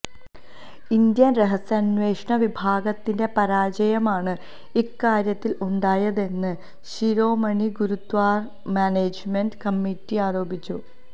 Indian രഹസ്യാന്വേഷണ വിഭാഗത്തിന്റെ പരാജയമാണ് ഇക്കാര്യത്തില് ഉണ്ടായതെന്ന് ശിരോമണി ഗുരുദ്വാര മാനേജ്മെന്റ് കമ്മിറ്റി ആരോപിച്ചു